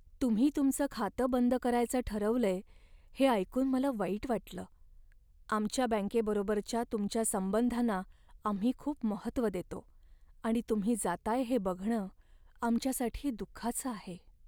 तुम्ही तुमचं खातं बंद करायचं ठरवलंय हे ऐकून मला वाईट वाटलं. आमच्या बँकेबरोबरच्या तुमच्या संबंधांना आम्ही खूप महत्त्व देतो आणि तुम्ही जाताय हे बघणं आमच्यासाठी दुःखाचं आहे.